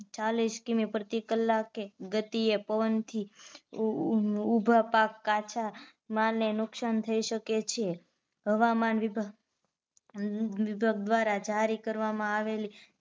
ચાલીસ કિ. મી. પ્રતિ કલાકે ગતિએ પવન થી ઊભા પાક કાચા માલ ને નુકસાન થઈ શકે છે. હવામાન વિભાગ દ્વારા જારી કરવામાં આવેલી